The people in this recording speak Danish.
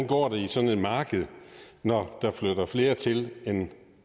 går i sådan et marked når der flytter flere til end